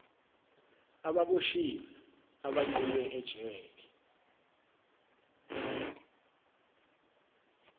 ababoshiwe abagqunywe ejele